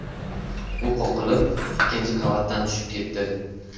U qoqilib, ikkinchi qavatdan tushib ketdi.